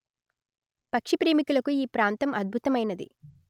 పక్షి ప్రేమికులకు ఈ ప్రాంతం అధ్భుతమైనది